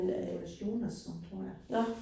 Jonas Jonasson tror jeg